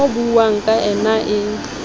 ho buuwang ka yna e